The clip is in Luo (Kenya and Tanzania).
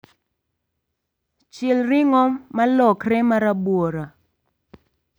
Chiel ring'o malokre marabuora